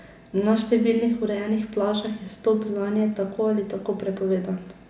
Na številnih urejenih plažah je vstop zanje tako ali tako prepovedan.